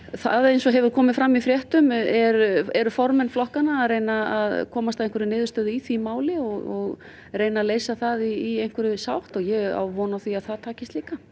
það eins og hefur komið fram í fréttum eru eru formenn flokkanna að reyna að komast að einhverri niðurstöðu í því máli og reyna að leysa það í einhverri sátt og ég á von á því að það takist líka